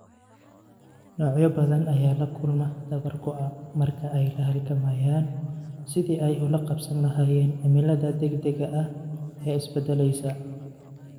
Noocyo badan ayaa la kulma dabar go'a marka ay la halgamayaan sidii ay ula qabsan lahaayeen cimilada degdega ah ee isbeddelaysa.